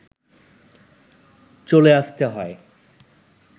চলে আসতে হয়